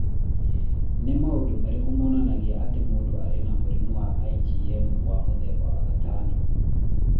Nĩ maũndũ marĩkũ monanagia atĩ mũndũ arĩ na mũrimũ wa IgM wa mũthemba wa gatano?